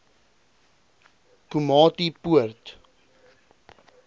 komatipoort